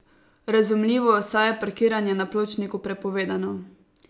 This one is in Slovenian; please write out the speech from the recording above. Razumljivo, saj je parkiranje na pločniku prepovedano.